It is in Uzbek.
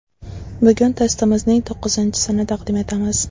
Bugun testimizning to‘qqizinchisini taqdim etamiz.